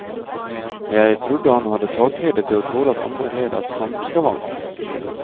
Jeg trodde han hadde takhøyde til å tåle at andre led av samme skavank.